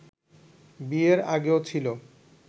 বিয়ের আগেও ছিল